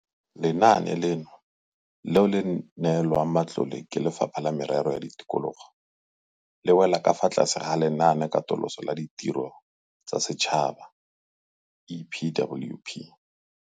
Lenaane leno, leo le neelwang matlole ke Lefapha la Merero ya Tikologo, le wela ka fa tlase ga Lenaanekatoloso la Ditiro tsa Setšhaba, EPWP.